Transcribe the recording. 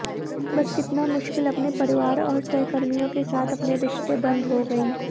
बस कितना मुश्किल अपने परिवार और सहकर्मियों के साथ अपने रिश्ते बंद हो गई